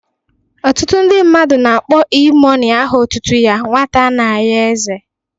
Ọtụtụ ndị mmadụ na-akpọ E mọni aha otutu ya 'Nwata ana ayo eze'